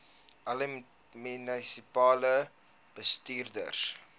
alle munisipale bestuurders